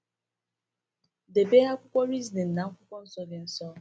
Debe akwụkwọ Reasoning na Akwụkwọ Nsọ gị nso.